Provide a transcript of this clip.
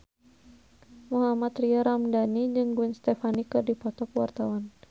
Mohammad Tria Ramadhani jeung Gwen Stefani keur dipoto ku wartawan